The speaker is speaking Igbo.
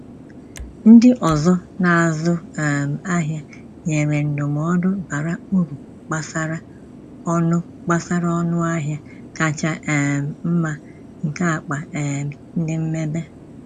Ndị ọzọ na-azụ um ahịa nyere ndụmọdụ bara uru gbasara ọnụ gbasara ọnụ ahịa kacha um mma nke akpa um ndị mmebe.